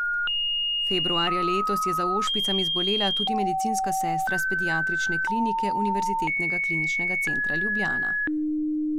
Februarja letos je za ošpicami zbolela tudi medicinska sestra s pediatrične klinike Univerzitetnega kliničnega centra Ljubljana.